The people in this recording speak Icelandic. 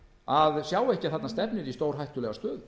að sjá ekki að þarna stefnir í stórhættulega stöðu